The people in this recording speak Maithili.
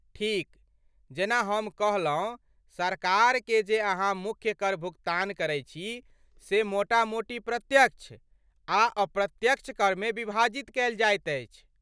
ठीक, जेना हम कहलहुँ सरकारकेँ जे अहाँ मुख्य कर भुगतान करैत छी से मोटा मोटी प्रत्यक्ष आ अप्रत्यक्ष करमे विभाजित कयल जाइत अछि।